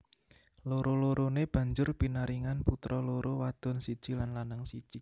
Loro loroné banjur pinaringan putra loro wadon siji lan lanang siji